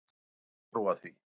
Júlía varð að trúa því.